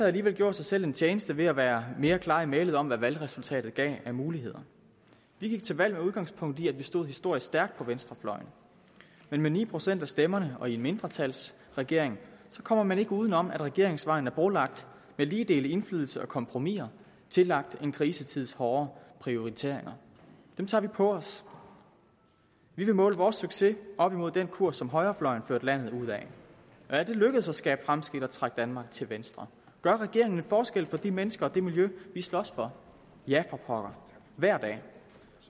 alligevel gjort sig selv en tjeneste ved at være mere klar i mælet om hvad valgresultatet gav af muligheder vi gik til valg med udgangspunkt i at vi stod historisk stærkt på venstrefløjen men med ni procent af stemmerne og i en mindretalsregering kommer man ikke udenom at regeringsvejen er brolagt med lige dele indflydelse og kompromiser tillagt en krisetids hårde prioriteringer dem tager vi på os vi vil måle vores succes op mod den kurs som højrefløjen førte landet ud ad er det lykkedes at skabe fremskridt og trække danmark til venstre gør regeringen en forskel for de mennesker og det miljø vi slås for ja for pokker hver dag